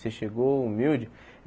Você chegou humilde.